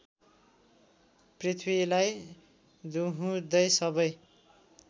पृथ्वीलाई दुहुँदै सबै